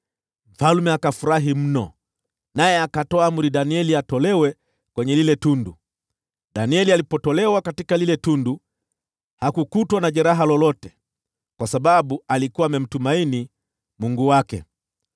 Mfalme akafurahi mno, naye akatoa amri Danieli atolewe kutoka kwa lile tundu. Danieli alipotolewa kutoka kwa lile tundu, hakukutwa na jeraha lolote, kwa sababu alikuwa amemtumaini Mungu wake.